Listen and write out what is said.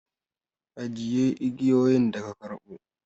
Ka ajiye igiyoyin da ka karɓo!